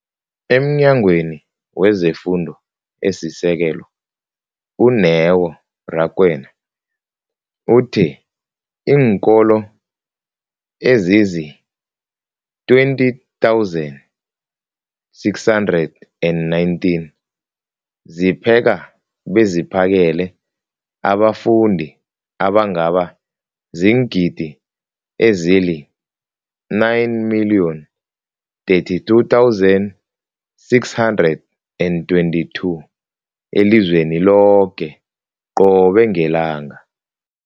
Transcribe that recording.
EmNyangweni wezeFundo esiSekelo, u-Neo Rakwena, uthe iinkolo ezizi-20 619 zipheka beziphakele abafundi abangaba ziingidi ezili-9 032 622 elizweni loke qobe ngelanga.